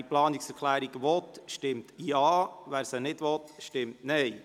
Wer diese Planungserklärung überweisen will, stimmt Ja, wer dies nicht will, stimmt Nein.